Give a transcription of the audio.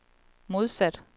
modsat